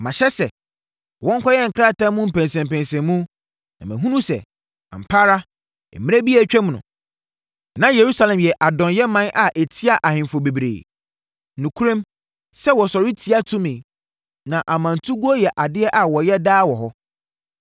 Mahyɛ sɛ, wɔnkɔyɛ nkrataa mu mpɛnsɛmpɛnsɛmu, na mahunu sɛ, ampa ara, mmerɛ bi a atwam no, na Yerusalem yɛ adɔnyɛman a ɛtiaa ahemfo bebree. Nokorɛm, sɛ wɔsɔre tia tumi, na ɔmantuguo yɛ adeɛ a wɔyɛ daa wɔ hɔ.